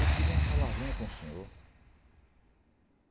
Eu queria uma palavrinha com o senhor.